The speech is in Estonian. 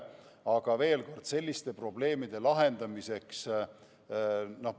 Aga veel kord: selliseid probleeme meie ei saa lahendada.